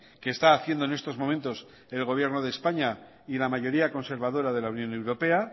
que está haciendo en estos momentos el gobierno de españa y la mayoría conservadora de la unión europea